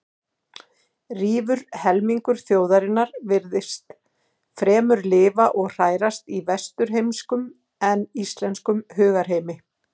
Rífur helmingur þjóðarinnar virtist fremur lifa og hrærast í vesturheimskum en íslenskum hugarheimi.